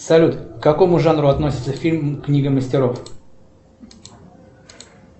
салют к какому жанру относится фильм книга мастеров